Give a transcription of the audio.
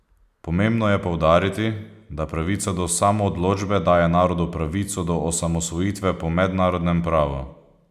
Pomembno je poudariti, da pravica do samoodločbe daje narodu pravico do osamosvojitve po mednarodnem pravu.